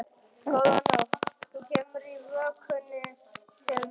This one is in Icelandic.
Góða nótt, þú kemur í vökunni til mín.